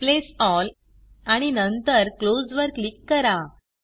replace all आणि नंतर close वर क्लिक करा